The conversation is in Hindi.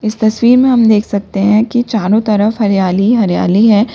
इस तस्वीर में हम देख सकते हैं कि चारों तरफ हरियाली ही हरियाली है।